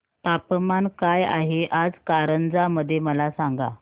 तापमान काय आहे आज कारंजा मध्ये मला सांगा